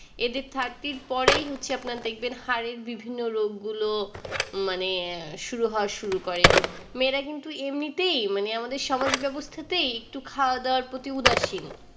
এদের thirty এর পরেই হচ্ছে আপনার দেখবেন হাড়ের বিভিন্ন রোগগুলো মানে শুরু হওয়া শুরু করে মেয়েরা কিন্তু এমনিতেই মানে আমাদের সমাজ ব্যবস্থাতেই একটু খাওয়া দাওয়ার প্রতি উদাসীন